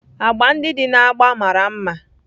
Agba ndị dị na agba mara mma